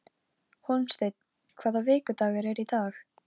En það gekk mér úr greipum.